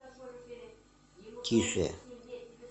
тише